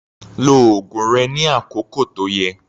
Lo oògùn rẹ ní àkókò tó yẹ